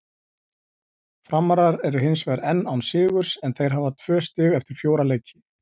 Framarar eru hinsvegar enn án sigurs en þeir hafa tvö stig eftir fjóra leiki.